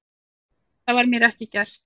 Það var mér ekki gert